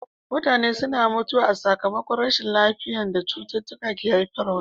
Mutane suna mutuwa sakamakon rashin lafiya da cututtuka ke haifarwa.